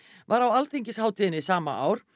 var á alþingishátíðinni sama ár